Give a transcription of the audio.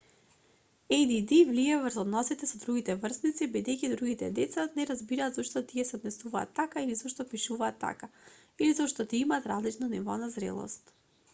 add влијае врз односите со другите врсници бидејќи другите деца не разбираат зошто тие се однесуваат така или зошто пишуваат така или зошто тие имаат различно ниво на зрелост